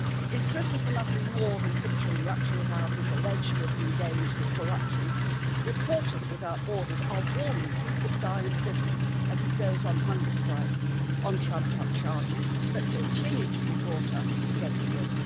In prison for nothing more than picturing luxury houses alleged to have been gained through corruption, Reporters Without Borders are warning he could die in prison as he goes on hunger strike on trumped up charges that continue to be brought up against him.